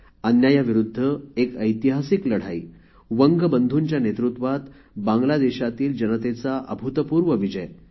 अन्यायाविरुद्ध एक ऐतिहासिक लढाई वंगबंधुंच्या नेतृत्वात बांगलादेशातील जनतेचा अभुतपूर्व विजय